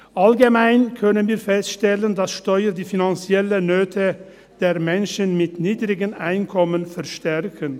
Allgemein können wir feststellen, dass Steuern die finanziellen Nöte der Menschen mit niedrigem Einkommen verstärken.